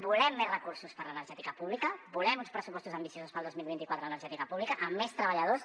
volem més recursos per a l’energètica pública volem uns pressupostos ambiciosos per al dos mil vint quatre en energètica pública amb més treballadors